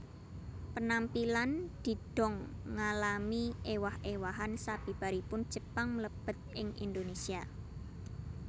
Penampilan didong ngalami ewah ewahan sabibaripun Jepang mlebet ing Indonesia